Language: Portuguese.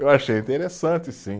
Eu achei interessante, sim.